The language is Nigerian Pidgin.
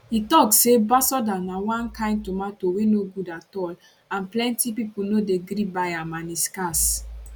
e tok say basoda na one kain tomato wey no good at all and plenty pipo no dey gree buy am and e scarce